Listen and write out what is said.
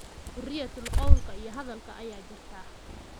Xoriyatul qawlka iyo hadalka ayaa jirta.